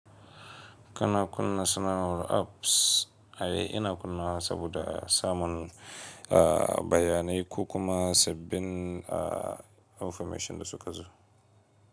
Kana kunna sanar war apps, ai ina kunnawa saboda samun bayanai ko kuma sabbin information da suka zo.